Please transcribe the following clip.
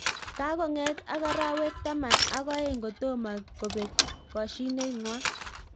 Kakonget ak arawek taman ak oeng kotomo kobeek koshinet ngwang